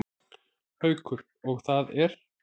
Haukur: Og það er?